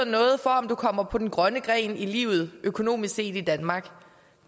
noget for om du kommer på den grønne gren i livet økonomisk set i danmark